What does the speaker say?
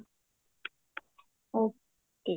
okay